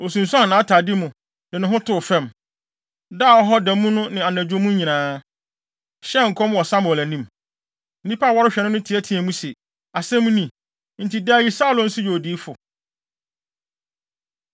Osunsuan nʼatade mu, de ne ho too fam, daa hɔ da mu ne anadwo mu nyinaa, hyɛɛ nkɔm wɔ Samuel anim. Nnipa a wɔrehwɛ no no teɛteɛɛ mu se, “Asɛm ni? Enti daa yi Saulo nso yɛ odiyifo?”